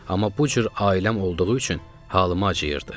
amma bu cür ailəm olduğu üçün halıma acıyırdı.